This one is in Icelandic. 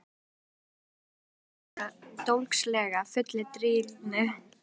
Þeir fengu sér í nefið og töluðu dólgslega, fullir drýldni.